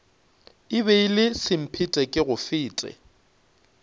e be e le semphetekegofete